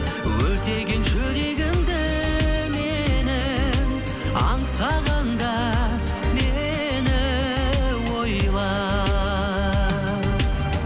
өртеген жүрегімді менің аңсағанда мені ойла